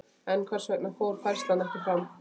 En hvers vegna fór færslan ekki fram?